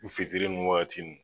fitiri nun wagati nun